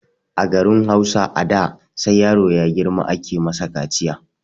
A garin Hausa a da ,sai yaro ya ɗan girma ake masa kaciya.